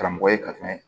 Karamɔgɔ ye ka tɛmɛ